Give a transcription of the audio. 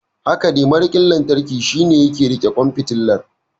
Hakane, mariƙin lantarki shine yake riƙe ƙwan fitilar.